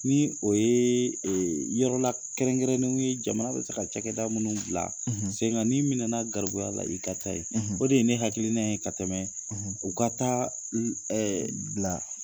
Ni o yee yɔrɔla kɛrɛnkɛrɛnnenw ye jamana bɛ se ka cɛkɛda munnu bila sen ŋa, n'i minɛna garibuya la, i ka taa ye. o de ye ne hakiliina ye ka tɛmɛ u ka taa ul bila